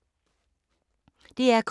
DR K